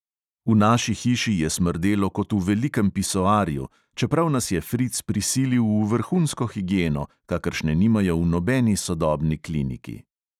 V naši hiši je smrdelo kot v velikem pisoarju, čeprav nas je fric prisilil v vrhunsko higieno, kakršne nimajo v nobeni sodobni kliniki.